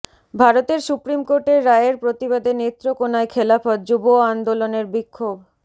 ভারতের সুপ্রিম কোর্টের রায়ের প্রতিবাদে নেত্রকোনায় খেলাফত যুব আন্দোলনের বিক্ষোভ